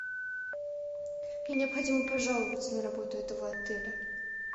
мне необходимо пожаловаться на работу этого отеля